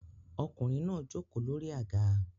Ọkùnrin náà jókòó lórí àga